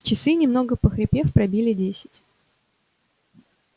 часы немного похрипев пробили десять